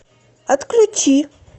отключи